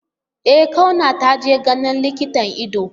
E Kauna taje ganin likitan ido.